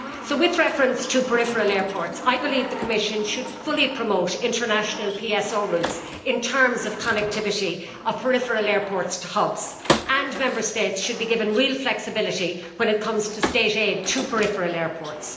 With reference to peripheral airports, I believe the Commission should fully promote international PSO routes in terms of connectivity of peripheral airports to hubs and that Member States should be given real flexibility when it comes to State aid to peripheral airports.